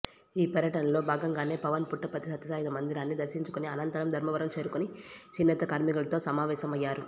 ఈ పర్యటనలో భాగంగానే పవన్ పుట్టపర్తి సత్యసాయి మందిరాన్ని దర్శించుకొని అనంతరం ధర్మవరం చేరుకొని చేనేత కార్మికులతో సమావేశమయ్యారు